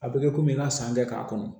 A bɛ kɛ komi n ka san kɛ k'a kɔnɔ